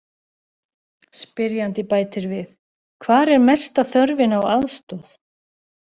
Spyrjandi bætir við: Hvar er mesta þörfin á aðstoð?